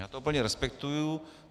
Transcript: Já to plně respektuji.